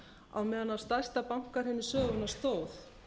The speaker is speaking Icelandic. á meðan á stærsta bankahruni sögunnar stóð